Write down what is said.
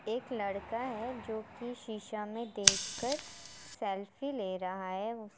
एक लड़का है जो की शीशा में देख कर सेल्फी ले रहा है।